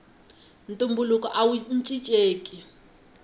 ntumbuluko awu cincenki